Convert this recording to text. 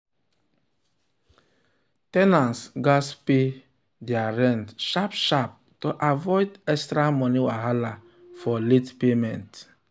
ten ants gatz pay their rent sharp sharp to avoid extra money wahala for late payment.